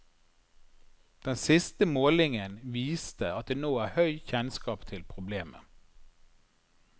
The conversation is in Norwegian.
Den siste målingen viste at det nå er høy kjennskap til problemet.